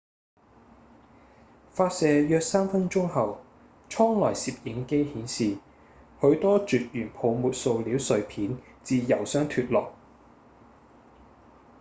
發射約3分鐘後艙內攝影機顯示許多絕緣泡沫塑料碎片自油箱脫落